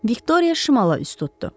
Viktoriya şimala üz tutdu.